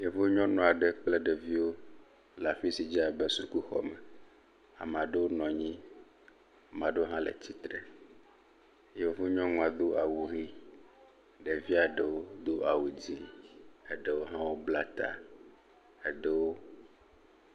Yevu nyɔnu aɖe kple ɖeviwo la afi si dze abe sukuxɔ me. Ame aɖewo nɔ anyi, ame aɖewo hã le tsitre do awu ʋi. Ɖevia ɖewo do awu dzɛ̃, ɖewo hã bla ta. Eɖewo.